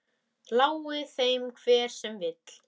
Lái þeim hver sem vill.